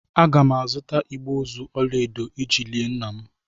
Aga m azụta igbe ozu ọla edo iji lie nna m.